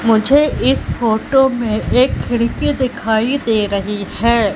मुझे इस फोटो में एक खिड़की दिखाई दे रही है।